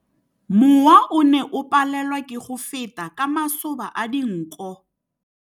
Mowa o ne o palelwa ke go feta ka masoba a dinko.